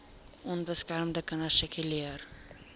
onbeskermde kinders sirkuleer